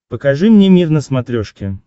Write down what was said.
покажи мне мир на смотрешке